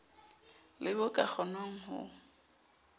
le bo ka kgonwang ho